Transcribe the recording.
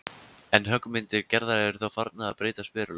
En höggmyndir Gerðar eru þá farnar að breytast verulega.